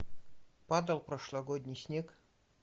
падал прошлогодний снег